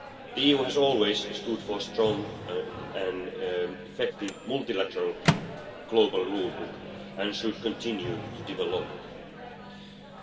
The EU has always stood for a strong and effective multilateral global rulebook, and it should continue to develop